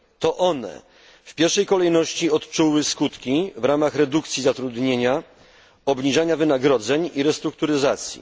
To one w pierwszej kolejności odczuły skutki w ramach redukcji zatrudnienia, obniżania wynagrodzeń i restrukturyzacji.